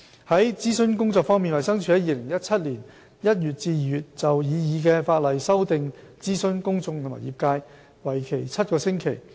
在諮詢工作方面，衞生署在2017年1月至2月就擬議的法例修訂諮詢公眾和業界，為期7個星期。